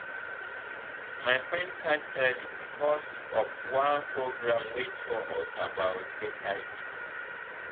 my friend catch early because of one program wey tell us about hiv.